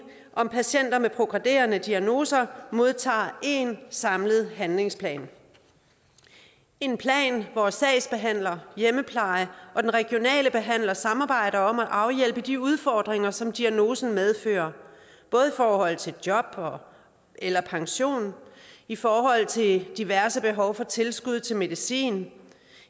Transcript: om patienter med progredierende diagnoser modtager én samlet handlingsplan en plan hvor sagsbehandlere hjemmepleje og den regionale behandler samarbejder om at afhjælpe de udfordringer som diagnosen medfører både i forhold til job eller pension i forhold til diverse behov for tilskud til medicin